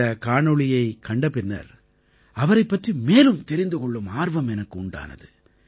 இந்தக் காணொளியைக் கண்ட பின்னர் அவரைப் பற்றி மேலும் தெரிந்து கொள்ளும் ஆர்வம் எனக்கு உண்டானது